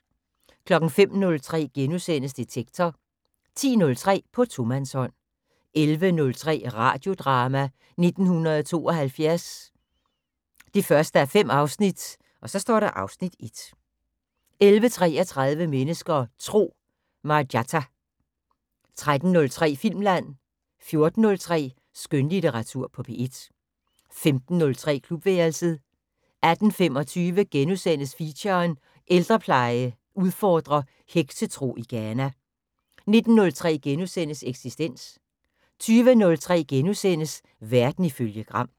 05:03: Detektor * 10:03: På tomandshånd 11:03: Radiodrama: 1972 1:5 (Afs. 1) 11:33: Mennesker og Tro: Marjatta 13:03: Filmland 14:03: Skønlitteratur på P1 15:03: Klubværelset 18:25: Feature: Ældrepleje udfordrer heksetro i Ghana * 19:03: Eksistens * 20:03: Verden ifølge Gram *